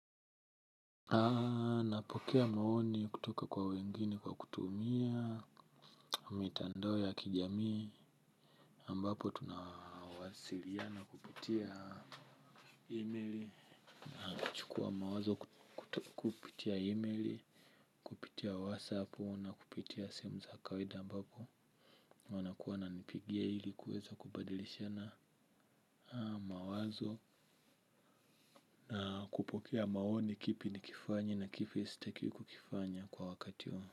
Napokea maoni kutoka kwa wengine kwa kutumia mitandao ya kijamii ambapo tunawasiliana kupitia email na kuchukua mawazo kupitia email, kupitia whatsapu na kupitia simu za kawaida ambapo wanakuwa wananipigia ili kuweza kubadilishana mawazo na kupokea maoni kipi nikifanye na kipi sitaki kukifanya kwa wakati wa.